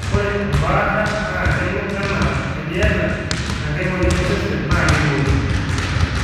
ore embaata naa kelo anaa eniata enkai moyian osesen naa keiba oleng